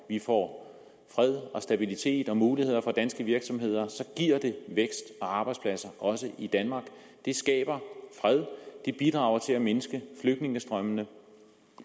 vi får fred og stabilitet og muligheder for danske virksomheder giver det vækst og arbejdspladser også i danmark det skaber fred det bidrager til at mindske flygtningestrømmene